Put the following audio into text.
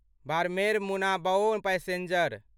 Barmer Munabao passenger